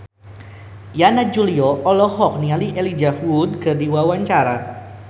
Yana Julio olohok ningali Elijah Wood keur diwawancara